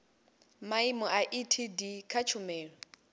maimo a etd kha tshumelo